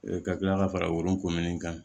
ka kila ka fara wolonkomin kan